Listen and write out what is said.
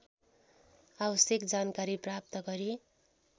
आवश्यक जानकारी प्राप्त गरी